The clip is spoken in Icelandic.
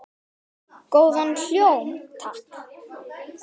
Góðan hljóm, takk!